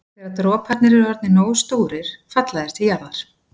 Þegar droparnir eru orðnir nógu stórir falla þeir til jarðar.